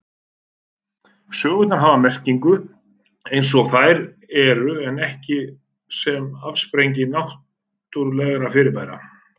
Sögurnar hafa merkingu eins og þær eru en ekki sem afsprengi náttúrulegra fyrirbæra.